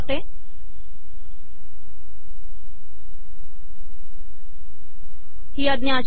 आणि ही आज्ञा ही अशी आहे